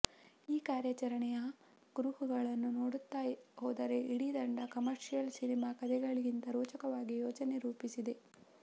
ಈ ಕಾರ್ಯಾಚರಣೆಯ ಕುರುಹುಗಳನ್ನ ನೋಡುತ್ತಾ ಹೋದರೆ ಇಡೀ ತಂಡ ಕಮರ್ಷಿಯಲ್ ಸಿನಿಮಾ ಕಥೆಗಳಿಗಿಂತ ರೋಚಕವಾಗಿ ಯೋಜನೆ ರೂಪಿಸಿದೆ